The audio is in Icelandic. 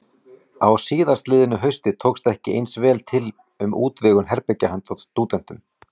Á síðastliðnu hausti tókst ekki eins vel til um útvegun herbergja handa stúdentum.